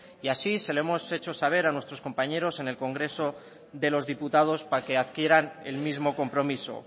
y así se lo hemos hecho saber a nuestros compañeros en el congreso de los diputados para que adquieran el mismo compromiso